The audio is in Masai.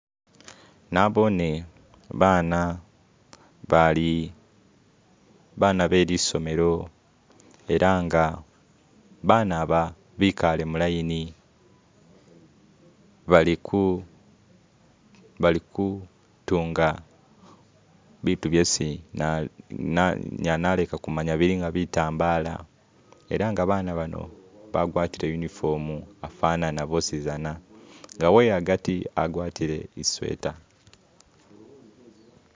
nabone bana bali bana be lisomelo ela nga baba aba bikale mulaini bali ku bali kutunga bitu byesi inyala naleka kumanya bili nga bitambala ela nga bana bano bagwatile unifomu afanana bosizana nga uweagati agwatile isweta.